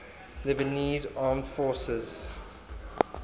lebanese armed forces